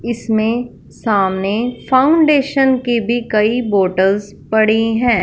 इसमें सामने फाउंडेशन के भी कई बॉटल्स पड़े हैं।